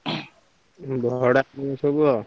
ଭଡା ସବୁ।